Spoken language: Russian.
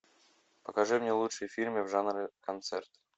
покажи мне лучшие фильмы в жанре концерт